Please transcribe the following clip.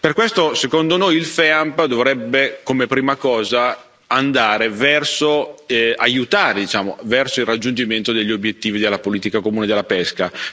Per questo, secondo noi, il FEAMP dovrebbe come prima cosa aiutare verso il raggiungimento degli obiettivi della politica comune della pesca.